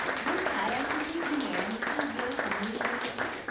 মই চাই আছো যে ই মেৰামতিৰ ব্যয় সামৰি লয় নেকি।